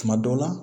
Tuma dɔw la